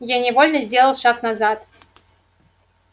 я невольно сделал шаг назад